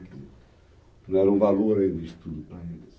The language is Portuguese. Não era um valor ainda o estudo para eles.